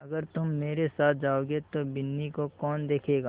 अगर तुम मेरे साथ जाओगे तो बिन्नी को कौन देखेगा